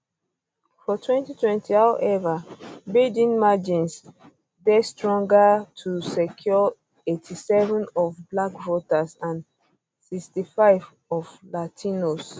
for um 2020 um howeva biden margins dey stronger to secure 87 of black voters and 65 of latinos